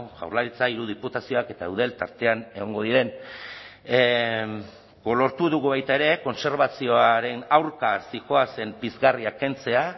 jaurlaritza hiru diputazioak eta eudel tartean egongo diren lortu dugu baita ere kontserbazioaren aurka zihoazen pizgarriak kentzea